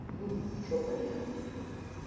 ну что поделать